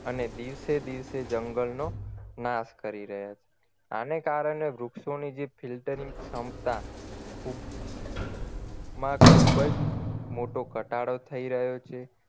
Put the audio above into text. અને દિવસે દિવસે જંગલનો નાશ કરી રહ્યા છે આને કારણે વૃક્ષોની જે filtering ની ક્ષમતા ખૂબ મા ખુબ જ મોટો ઘટાડો થઈ રહ્યો છે